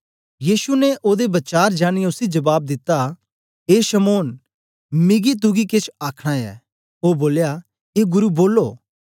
यीशु ने ओदे वचार जानियें उसी जबाब दिता ए शमौन मिगी तुगी केछ आखना ऐ ओ बोलया ए गुरु बोलो